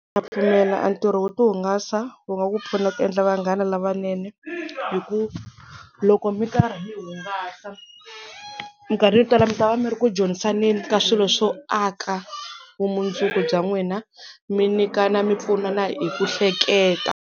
Na pfumela a ntirho wo ti hungasa wu nga ku pfuna ku endla vanghana lavanene, hi ku loko mi karhi mi hungasa minkarhi yo tala mi ta va mi ri ku dyondzisaneni ka swilo swo aka vumundzuku bya n'wina mi nyikana mi pfunana hi ku hleketa.